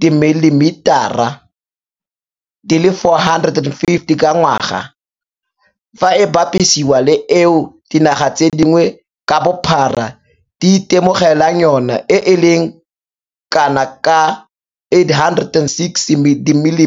dimililitara, ml, di le 450 ka ngwaga, fa e bapisiwa le eo dinaga tse dingwe ka bophara di itemogelang yona e e leng kanaka 860ml.